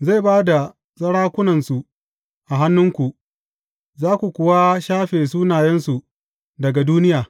Zai ba da sarakunsu a hannunku, za ku kuwa shafe sunayensu daga duniya.